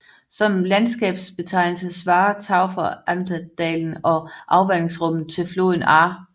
Som landskabsbetegnelse svarer Tauferer Ahrntal dalen og afvandingsområdet til floden Ahr